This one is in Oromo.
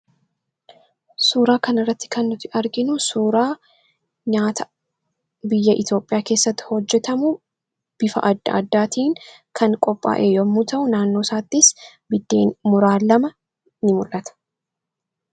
suuraa kan irratti kannuti arginu suuraa nyaata biyya Itoophiyaa keessatti hojjetamuu bifa adda addaatiin kan qophaa'ee yommuu ta'u naannoosaattis biddeen muraa lama in mul'ata